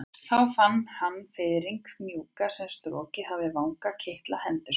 Þá fann hann fiðringinn mjúka sem strokið hafði vangann kitla hendur sínar.